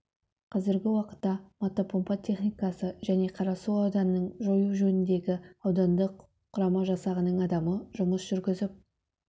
қазіргі уақытта мотопомпа техникасы және қарасу ауданының жою жөніндегі аудандық құрама жасағының адамы жұмыс жүргізіп